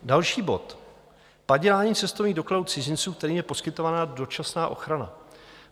Další bod: Padělání cestovních dokladů cizinců, kterým je poskytována dočasná ochrana.